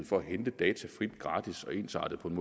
for at hente data frit og gratis og ensartet på en